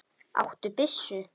Áttu byssu?